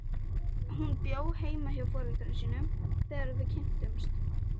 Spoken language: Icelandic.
Hún bjó heima hjá foreldrum sínum þegar við kynntumst.